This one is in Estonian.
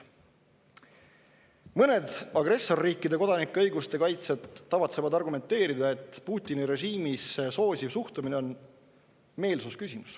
Mõned agressorriikide kodanike õiguste kaitsjad tavatsevad argumenteerida, et Putini režiimi soosiv suhtumine on meelsusküsimus.